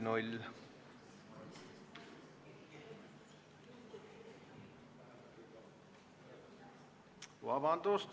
Vabandust!